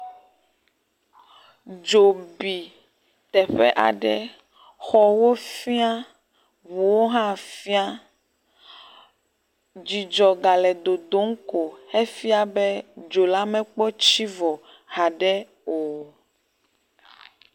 Dzo bi teƒe aɖe, xɔwo fĩa, ʋuwo hã fĩa. Dzidzɔ gale dodom ko efia be dzo la mekpɔ tsi vɔ haɖe o.